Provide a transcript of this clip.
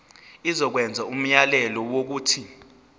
izokwenza umyalelo wokuthi